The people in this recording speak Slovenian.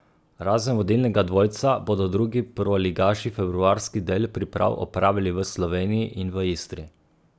Razen vodilnega dvojca bodo drugi prvoligaši februarski del priprav opravili v Sloveniji in v Istri.